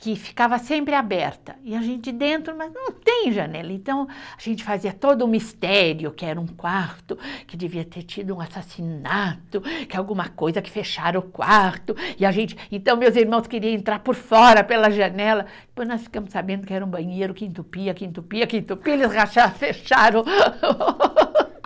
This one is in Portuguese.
Que ficava sempre aberta, e a gente dentro, mas não tem janela, então a gente fazia todo um mistério, que era um quarto, que devia ter tido um assassinato, que alguma coisa, que fecharam o quarto, e a gente, então meus irmãos queriam entrar por fora, pela janela, depois nós ficamos sabendo que era um banheiro que entupia, que entupia, que entupia, eles fecharam.